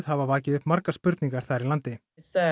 hafa vakið upp margar spurningar þar í landi